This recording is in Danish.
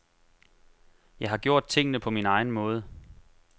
Jeg har gjort tingene på min egen måde.